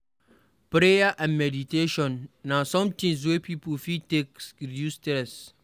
Prayer and meditation na some things wey pipo fit take reduce stress